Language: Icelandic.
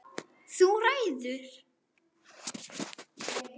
Þú ræður!